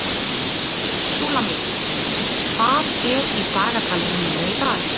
Súlamít, hvað er í dagatalinu mínu í dag?